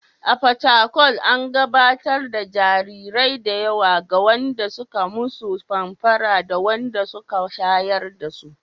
A Fatakwal, an gabatar da jarirai da yawa ga wanda suka musu famfara da wanda suka shayar dasu.